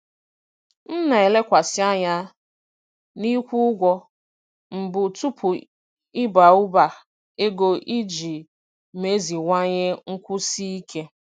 M na-elekwasị anya n'ịkwụ ụgwọ mbụ tupu ịba ụba ego iji meziwanye nkwụsi ike.